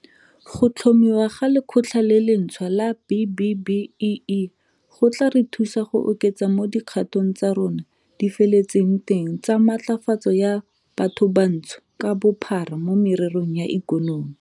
Go tlhomiwa ga Lekgotla le lentšhwa la B-BBEE go tla re thusa go oketsa mo dikgato tsa rona di feletseng teng tsa matlafatso ya bathobantsho ka bophara mo mererong ya ikonomi.